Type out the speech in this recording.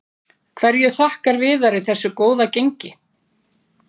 Hverju þakkar Viðari þessu góða gengi?